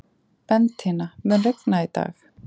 Bentína, mun rigna í dag?